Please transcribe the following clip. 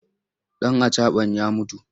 Ɗan acaɓan ya mutu?